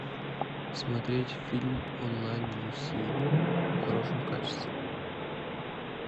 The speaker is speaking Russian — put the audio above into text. смотреть фильм онлайн люси в хорошем качестве